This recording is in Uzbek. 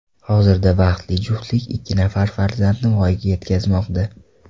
Hozirda baxtli juftlik ikki nafar farzandni voyaga yetkazmoqda.